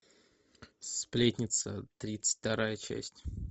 сплетница тридцать вторая часть